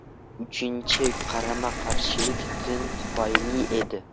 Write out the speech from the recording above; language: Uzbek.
Uchinchi qarama-qarshilik din tufayli edi.